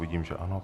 Vidím, že ano.